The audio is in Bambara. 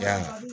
Yan